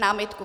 Námitku.